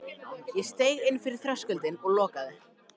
Ég steig inn fyrir þröskuldinn og lokaði.